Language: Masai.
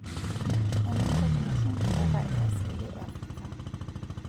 Eninko tenishum mpuka easili e afrika.